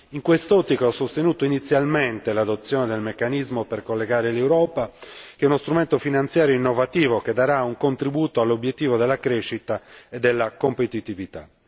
In quest'ottica, ho sostenuto inizialmente l'adozione del Meccanismo per collegare l'Europa, che è uno strumento finanziario innovativo che darà un contributo all'obiettivo della crescita e della competitività.